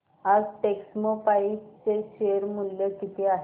आज टेक्स्मोपाइप्स चे शेअर मूल्य किती आहे